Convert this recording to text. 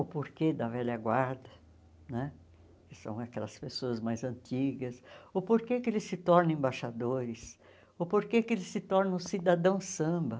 O porquê da velha guarda né, que são aquelas pessoas mais antigas, o porquê que eles se tornam embaixadores, o porquê que eles se tornam cidadãos samba.